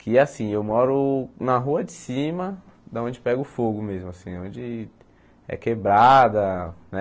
Que assim, eu moro na rua de cima, da onde pega o fogo mesmo, assim, onde é quebrada, né?